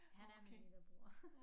Han er min lillebror